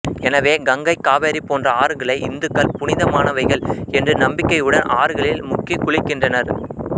எனவே கங்கை காவேரி போன்ற ஆறுகளை இந்துக்கள் புனிதமானவைகள் என்று நம்பிக்கையுடன் ஆறுகளில் முக்கிக் குளிக்கின்றனர்